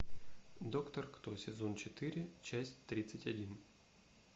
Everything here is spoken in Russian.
доктор кто сезон четыре часть тридцать один